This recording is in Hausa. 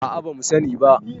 a a ba mu sani ba